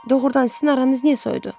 Doğrudan, sizin aranız niyə soyudu?